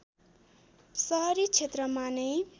सहरी क्षेत्रमा नै